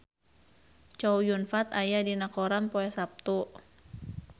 Chow Yun Fat aya dina koran poe Saptu